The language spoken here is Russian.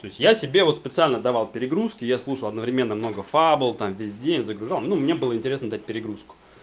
то есть я себе вот специально давал перегрузки я слушал одновременно много фабл там весь день загружал ну мне было интересно дать перегрузку